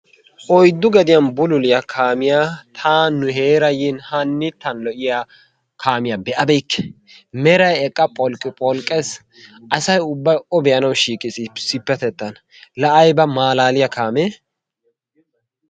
Oyddu gediyan bululiya kaamiya ta nu heeraa yin hannitten lo'iya kaamiya be'abeykke. Meray eqqa pholqqipholqqees, asay ubbay O be'anawu shiiqiis issippetettan. Laa ayba maalaaliya kaamee!